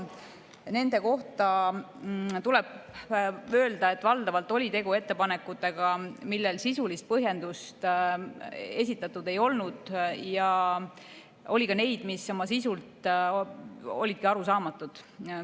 Nende kohta tuleb öelda, et valdavalt oli tegu ettepanekutega, millele sisulist põhjendust esitatud ei olnud, ja oli ka neid, mis oma sisult olidki arusaamatud.